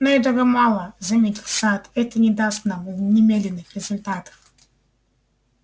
но этого мало заметил сатт это не даст нам немедленных результатов